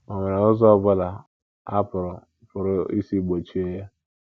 Ọ̀ nwere ụzọ ọ bụla a pụrụ pụrụ isi gbochie ya?